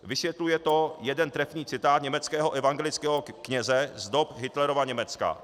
Vysvětluje to jeden trefný citát německého evangelického kněze z dob Hitlerova Německa.